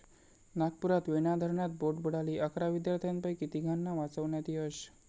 नागपुरात वेणा धरणात बोट बुडाली, अकरा विद्यार्थ्यांपैकी तिघांना वाचवण्यात यश